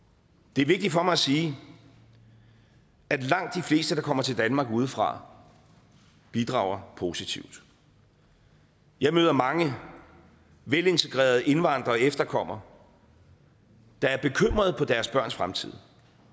det er vigtigt for mig at sige at langt de fleste der kommer til danmark udefra bidrager positivt jeg møder mange velintegrerede indvandrere og efterkommere der er bekymrede for deres børns fremtid